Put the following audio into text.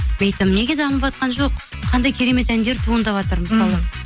мен айтамын неге дамыватқан жоқ қандай керемет әндер туындаватыр мысалы